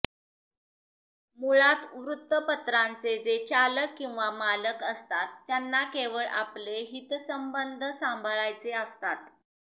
मुळात वृत्तपत्रांचे जे चालक किंवा मालक असतात त्याना केवळ आपले हितसंबंध सांभाळायचे असतात